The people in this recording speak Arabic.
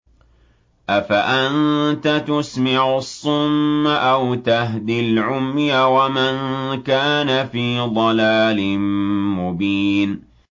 أَفَأَنتَ تُسْمِعُ الصُّمَّ أَوْ تَهْدِي الْعُمْيَ وَمَن كَانَ فِي ضَلَالٍ مُّبِينٍ